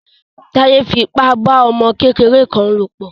Táyé fi ipa bá ọmọ kékeré kan lò pọ̀.